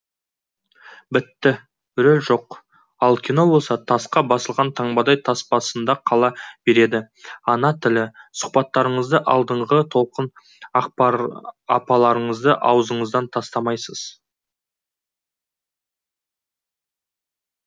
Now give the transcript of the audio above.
бітті рөл жоқ ал кино болса тасқа басылған таңбадай таспасында қала береді ана тілі сұхбаттарыңызда алдыңғы толқын апаларыңызды аузыңыздан тастамайсыз